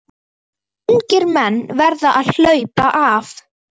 Ungir menn verða að HLAUPA AF